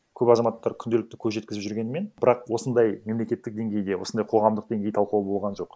көп азаматтар күнделікті көз жеткізіп жүргенімен бірақ осындай мемлекеттік денгейде осындай қоғамдық денгей талқылау болған жоқ